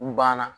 U banna